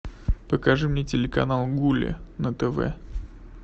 покажи мне телеканал гулли на тв